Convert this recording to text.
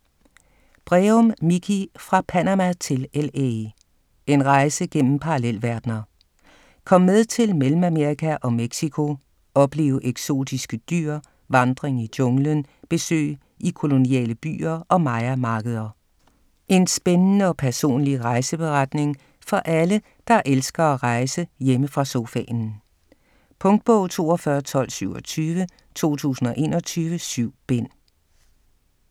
Breum, Mikie: Fra Panama til LA: en rejse gennem parallelverdener Kom med til Mellemamerika og Mexico, oplev eksotiske dyr, vandring i junglen, besøg i koloniale byer og mayamarkeder. En spændende og personlig rejseberetning for alle, der elsker at rejse hjemme fra sofaen. Punktbog 421227 2021. 7 bind.